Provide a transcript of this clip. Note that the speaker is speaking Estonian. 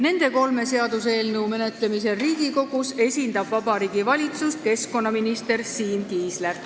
Nende kolme seaduseelnõu menetlemisel Riigikogus esindab Vabariigi Valitsust keskkonnaminister Siim Kiisler.